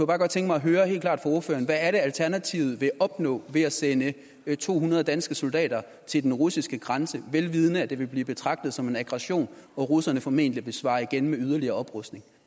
bare godt tænke mig at høre helt klart fra ordføreren hvad er det alternativet vil opnå ved at sende to hundrede danske soldater til den russiske grænse vel vidende at det vil blive betragtet som en aggression og russerne formentlig vil svare igen med yderligere oprustning